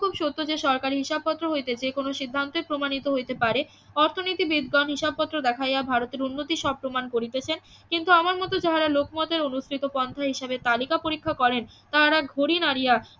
খুব সত্য যে সরকারি হিসাব পত্র হইতে যে কোনো সিদ্ধান্তে প্রমাণিত হইতে পারে অর্থনীতিবিদগণ হিসাবপত্র দেখাইয়া ভারতের উন্নতি সব প্রমান করিতেছেন কিন্তু আমার মত যাহারা লোকমতে অনুসৃত পন্থা হিসেবে তালিকা পরীক্ষা করেন তাহারা ঘুরে দাঁড়িয়া